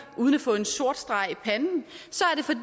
uden at få en sort streg